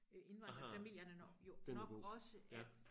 Øh indvandrefamilierne jo nok også at